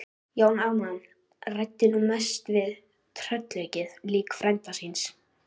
Jón Ármann ræddi nú mest við tröllaukið lík frænda síns.